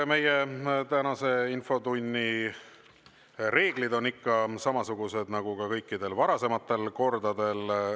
Meie tänase infotunni reeglid on ikka samasugused nagu ka kõikidel varasematel kordadel.